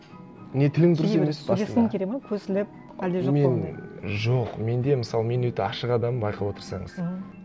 не тілін сөйлескің келеді ме көсіліп әлде жоқ па ондай жоқ менде мысалы мен өте ашық адаммын байқап отырсаңыз мхм